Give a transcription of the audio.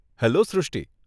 Hello Shrushti !